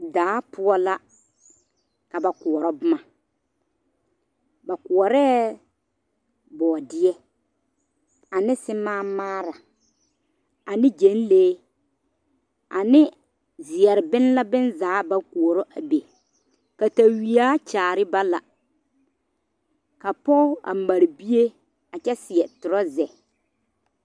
Daa poɔ la ka ba kɔrɔ boma ba koɔre boɔdieɛ ane simaa maare ane gyeglee ane ziɛrebola bonzaa ba kɔrɔ a be katawiɛ kyaare ba la ka pɔge a mare bie a kyɛ seɛ tɔreza.